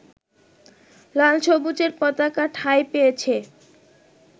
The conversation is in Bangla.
লাল-সবুজের পতাকা ঠাঁই পেয়েছে